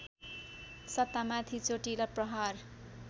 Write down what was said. सत्तामाथि चोटिलो प्रहार